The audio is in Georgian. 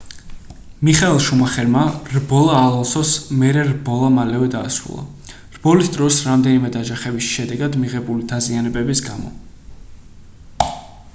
მიხაელ შუმახერმა რბოლა ალონსოს მერე რბოლა მალევე დაასრულა რბოლის დროს რამდენიმე დაჯახების შედეგად მიღებული დაზიანების გამო